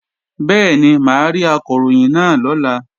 Bẹ́ẹ̀ni, mà á rí Akọ̀ròyìn náà lọ́la